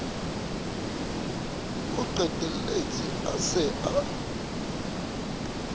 o qetelletse a se a